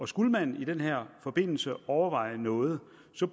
skulle man i den her forbindelse overveje noget